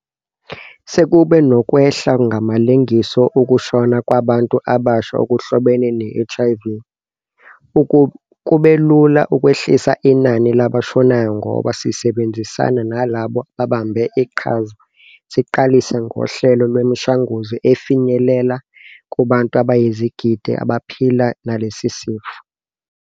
Sekube nokwehla ngamalengiso ukushona kwabantu abasha okuhlobene ne-HIV. Kube lula ukwehlisa inani labashonayo ngoba, sisebenzisana nalabo ababambe iqhaza, siqalise ngohlelo lwemishanguzo efinyelela kubantu abayizigidi abaphila nalesi sifo.